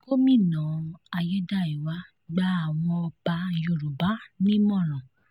gomina ayédáiwa gba àwọn ọba yorùbá nímọ̀ràn